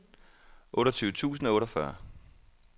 otteogtyve tusind og otteogfyrre